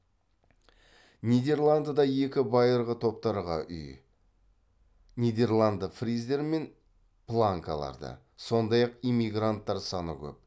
нидерландыда екі байырғы топтарға үй нидерланды фриздер мен планкаларды сондай ақ иммигранттар саны көп